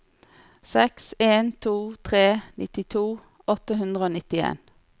seks en to tre nittito åtte hundre og nittien